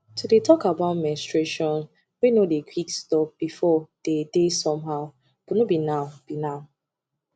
to dey talk about menstruation wey no dey quick stop before dey somehow but no be now be now